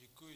Děkuji.